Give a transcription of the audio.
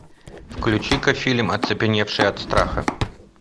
включи ка фильм оцепеневшие от страха